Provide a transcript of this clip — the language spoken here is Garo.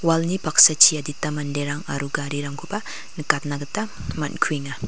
wal ni paksachi adita manderang aro garirangkoba nikatna gita man·kuenga.